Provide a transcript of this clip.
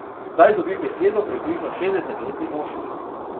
Zdaj dobi besedo približno šestdesetletni moški.